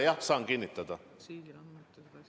Aitäh teile!